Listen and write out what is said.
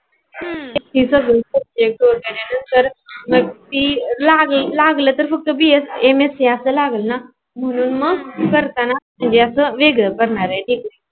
हम्म नेट वेगेरे नंतर सी लागल लागल नंतर bscmsc अस लागल ना म्हणून मग करतांना अस वेगळ करणार जी की